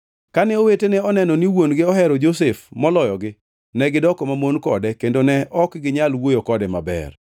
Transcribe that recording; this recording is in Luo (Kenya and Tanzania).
Kane owetene oneno ni wuon-gi ohero Josef moloyogi, negidoko mamon kode kendo ne ok ginyal wuoyo kode maber.